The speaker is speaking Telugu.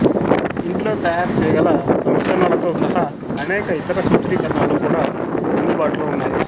ఇంట్లో తయారు చేయగల సంస్కరణలతో సహా అనేక ఇతర సూత్రీకరణలు కూడా అందుబాటులో ఉన్నాయి